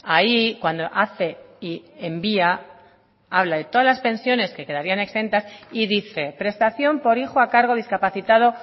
ahí cuando hace y envía habla de todas las pensiones que quedarían exentas y dice prestación por hijo a cargo o discapacitado